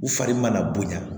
U fari mana bonya